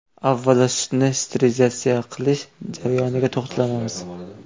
Avvalo, sutni sterilizatsiya qilish jarayoniga to‘xtalamiz.